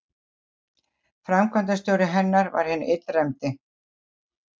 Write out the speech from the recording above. Framkvæmdastjóri hennar var hinn illræmdi